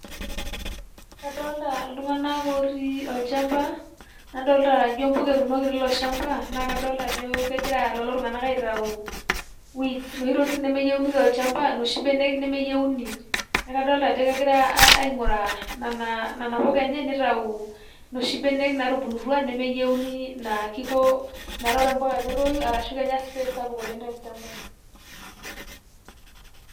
Kadolta itunganak otii olchamba nadolta ajo ijo impuka etuunoki teilo shamba naa kadolta ajo kegira lelo tunganak aitau weeds noshi tokitin nemeyieuni tolchamba noshi benek nemeyieuni. niaku kadolta ajo kegiray ainguraa nena puka enye nitau noshi benek natubulutua nemeyieuni naa kiko metaa ore impuka naa ketoyu arshu kenya space sapuk oleng tolchamba .